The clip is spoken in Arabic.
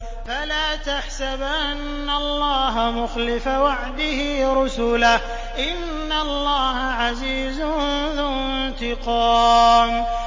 فَلَا تَحْسَبَنَّ اللَّهَ مُخْلِفَ وَعْدِهِ رُسُلَهُ ۗ إِنَّ اللَّهَ عَزِيزٌ ذُو انتِقَامٍ